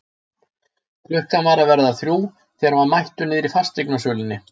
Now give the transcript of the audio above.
Klukkan var að verða þrjú þegar hann var mættur niðri í fasteignasölunni.